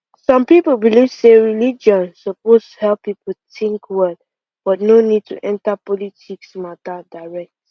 some people believe say religion suppose help people think well but no need to enter politics matter direct